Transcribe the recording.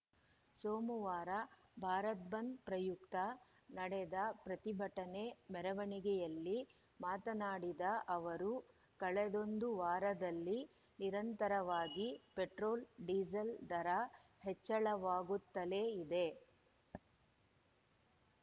ಸೋಮವಾರ ಭಾರತ್‌ ಬಂದ್‌ ಪ್ರಯುಕ್ತ ನಡೆದ ಪ್ರತಿಭಟನೆ ಮೆರವಣಿಗೆಯಲ್ಲಿ ಮಾತನಾಡಿದ ಅವರು ಕಳೆದೊಂದು ವಾರದಲ್ಲಿ ನಿರಂತರವಾಗಿ ಪೆಟ್ರೋಲ್‌ ಡಿಸೇಲ್‌ ದರ ಹೆಚ್ಚಳವಾಗುತ್ತಲೇ ಇದೆ